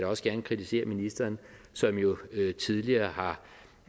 også gerne kritisere ministeren som jo tidligere har